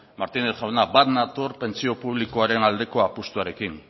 martínez jauna bat nator pentsio publikoaren aldeko apustuarekin